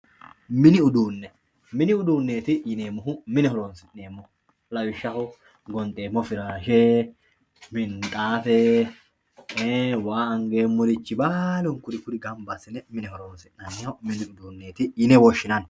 mini uduunneeti yineemmohu mine horonsi'neemmoho lawishshaho gonxeemmo firaashe minxaafe ee waa angeemmorichi baalunku kuri gamba assine mine horonsi'nan niho mini uduunneeti yine woshshinanni.